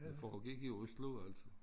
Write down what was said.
Det foregik i Oslo altid